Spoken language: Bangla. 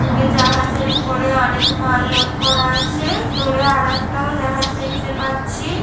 দূরে জাহাজের উপরে অনেক মাল লোড করা আছে-এ । দূরে আর একটাও জাহাজ দেখতে পাচ্ছি-ই ।